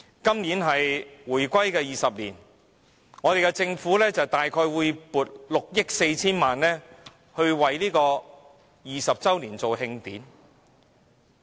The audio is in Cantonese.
今年是回歸20周年，政府會撥出約6億 4,000 萬元為20周年舉行慶典。